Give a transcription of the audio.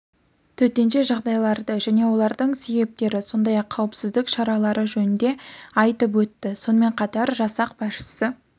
төтенше жағдайларды және олардың себептері сондай-ақ қауіпсіздік шаралары жөнінде айтып өтті сонымен қатар жасақ басшысы